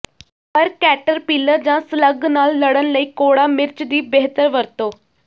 ਪਰ ਕੈਟਰਪਿਲਰ ਜਾਂ ਸਲਗ ਨਾਲ ਲੜਨ ਲਈ ਕੌੜਾ ਮਿਰਚ ਦੀ ਬਿਹਤਰ ਵਰਤੋਂ